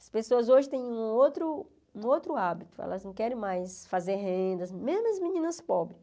As pessoas hoje têm um outro um outro hábito, elas não querem mais fazer renda, mesmo as meninas pobres.